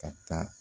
Ka taa